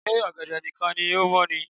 Ṣe ọ̀gẹ̀dẹ̀ nìkan ni o mọ̀ ni